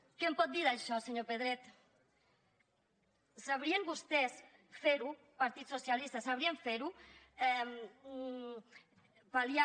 què em pot dir d’això senyor pedret sabrien vostès fer ho partit socialista sabrien fer ho pal·liar